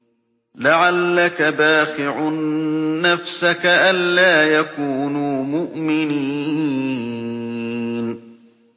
لَعَلَّكَ بَاخِعٌ نَّفْسَكَ أَلَّا يَكُونُوا مُؤْمِنِينَ